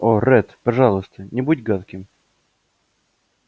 о ретт пожалуйста не будьте гадким